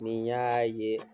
Ni n y'aa ye